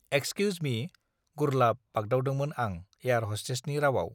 excuse me गुरलाव बागदावदोंमोन आं एयार हस्टेसनि रावआव